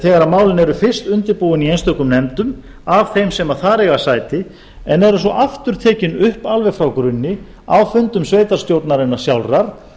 þegar málin eru fyrst undirbúin í einstökum nefndum af þeim sem þar eiga sæti en eru svo aftur tekin upp alveg frá grunni á fundum sveitarstjórnarinnar sjálfrar